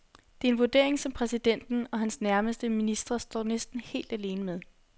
Det er en vurdering, som præsidenten og hans nærmeste ministre står næsten helt alene med.